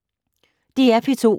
DR P2